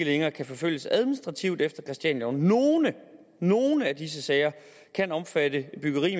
længere kan forfølges administrativt efter christianialoven nogle nogle af disse sager kan omfatte byggeri